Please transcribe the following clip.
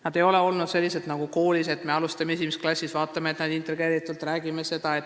Nad ei ole olnud sellised nagu koolis, et alustame esimeses klassis ja vaatame, et nad oleks integreeritud.